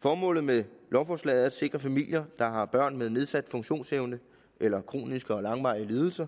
formålet med lovforslaget er at sikre familier der har børn med nedsat funktionsevne eller kroniske og langvarige lidelser